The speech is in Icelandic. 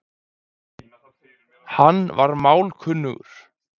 Hann var málkunnugur